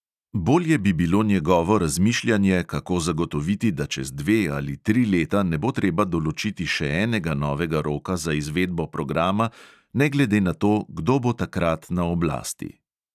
Bolje bi bilo njegovo razmišljanje, kako zagotoviti, da čez dve ali tri leta ne bo treba določiti še enega novega roka za izvedbo programa, ne glede na to, kdo bo takrat na oblasti.